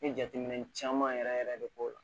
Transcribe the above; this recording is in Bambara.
N ye jateminɛ caman yɛrɛ yɛrɛ de k'o la